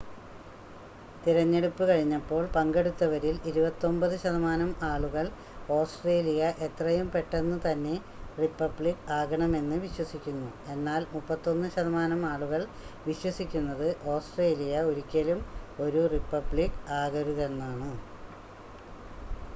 തിരഞ്ഞെടുപ്പ് കഴിഞ്ഞപ്പോൾ പങ്കെടുത്തവരിൽ 29 ശതമാനം ആളുകൾ ഓസ്‌ട്രേലിയ എത്രയും പെട്ടെന്ന് തന്നെ റിപ്പബ്ലിക്ക് ആകണമെന്ന് വിശ്വസിക്കുന്നു എന്നാൽ 31 ശതമാനം ആളുകൾ വിശ്വസിക്കുന്നത് ഓസ്‌ട്രേലിയ ഒരിക്കലും ഒരു റിപ്പബ്ലിക്ക് ആകരുതെന്നാണ്